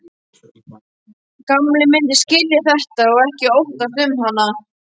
Gamli myndi skilja þetta og ekki óttast um hana.